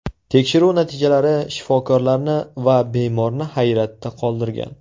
Tekshiruv natijalari shifokorlarni va bemorni hayratda qoldirgan.